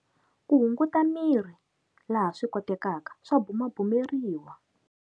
Ku hunguta miri, laha swikotekaka, swa bumabumeriwa.